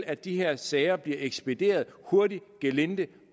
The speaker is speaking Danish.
at de her sager bliver ekspederet hurtigt gelinde